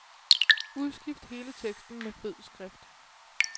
Udskift hele teksten med fed skrift.